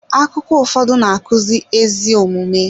Akụkọ ụfọdụ na-akụzi ezi omume.